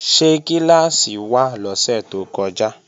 Ṣé kíláàsì wà lọ́sẹ̀ tó kọjá?